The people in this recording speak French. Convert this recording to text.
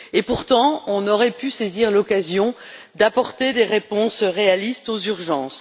Pourtant, on aurait pu saisir ces occasions pour apporter des réponses réalistes aux urgences.